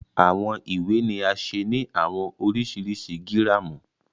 Awọn iwe ni a ṣe ni awọn oriṣiriṣi giramu